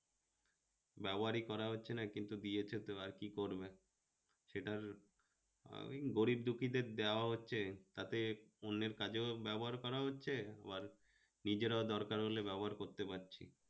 ব্যবহারই করা হচ্ছেনা কিন্তু, দিয়েছে তো আর কি করবে? সেটার আহ ওই গরিব-দুঃখীদের দেওয়া হচ্ছে তাতে অন্যের কাজেও ব্যবহার করা হচ্ছে আবার নিজেরাও দরকার হলে ব্যবহার করতে পারছে